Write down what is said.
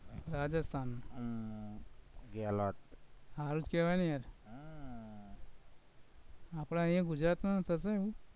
રાજસ્થાન હારિ જ કેવાય ને હમ આપણે અહીંયા ગુજરાતનું થશે